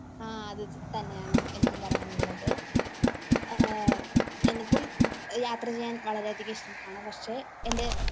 ആഹ് അത് തന്നെയാണ് എനിക്കും പറയാനുളളത്. എനിക്കും യാത്ര ചെയ്യാൻ വളരെയധികം ഇഷ്ടമാണ് പക്ഷെ എന്റെ